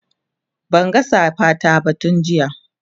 Banga safa ta ba tun jiya